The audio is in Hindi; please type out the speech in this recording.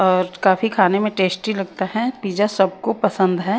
और काफी खाने में टेस्टी लगता है पिज्जा सबको पसंद है।